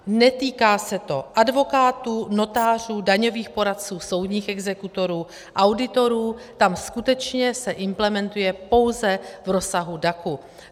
Netýká se to advokátů, notářů, daňových poradců, soudních exekutorů, auditorů, tam skutečně se implementuje pouze v rozsahu DAC.